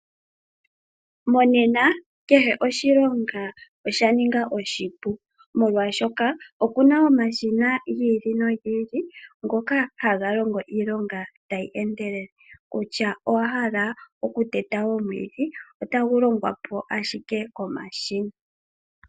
Monena kehe oshilonga osha ninga oshipu. Molwaashoka opuna omashina gi ili no gi ili ngoka haga longo iilonga tayi endelele. Kutya owa hala oku teta omwiidhi otagu longwapo ashike komashina